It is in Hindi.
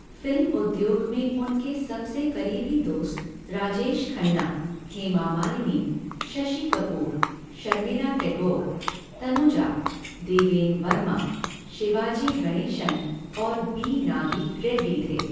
फिल्म उद्योग में उनके सबसे करीबी दोस्त राजेश खन्ना, हेमा मालिनी, शशि कपूर, शर्मिला टैगोर, तनुजा, देवेन वर्मा, शिवाजी गणेशन और बी नागी रेड्डी थे।